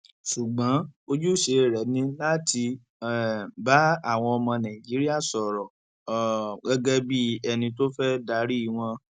ṣùgbọn ojúṣe rẹ ni láti um bá àwọn ọmọ nàìjíríà sọrọ um gẹgẹ bíi ẹni tó fẹẹ darí wọn